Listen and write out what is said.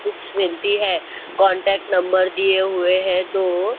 books मिलती है contact number दिए हुए है दो --